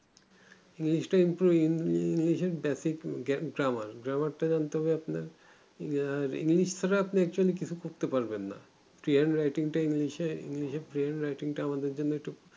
english টা improve english এর basic grammar টা কিন্তু আপনারা আর english ছাড়া আপনি actually কিছু করতে পারবেন না peayer writing টা english এ english এ আমাদের জন্য একটু